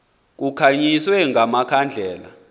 kukhanyiswe nga makhandlela